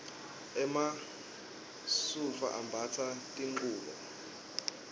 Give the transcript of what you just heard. emasulfu ambatsa tlhqubo